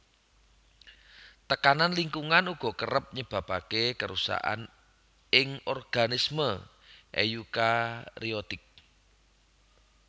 Tekanan lingkungan uga kerep nyebabaké karusakan ing organisme eukariotik